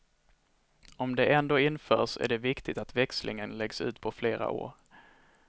Om det ändå införs är det viktigt att växlingen läggs ut på flera år.